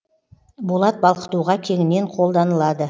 болат балқытуға кеңінен қолданылады